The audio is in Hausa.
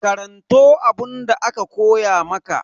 Karanto abunda aka koya maka.